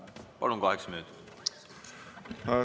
Palun, kaheksa minutit!